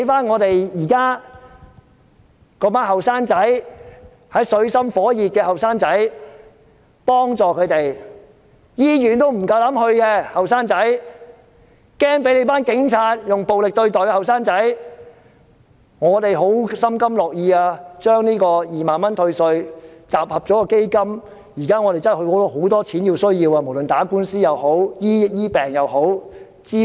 我們心甘情願，把自己的2萬元退稅集合成一項基金。現在真的有很多地方需要用錢，無論是打官司、醫病或支援。